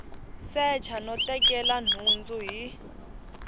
secha no tekela nhundzu hi